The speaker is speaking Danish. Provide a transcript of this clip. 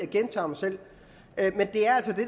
gentager mig selv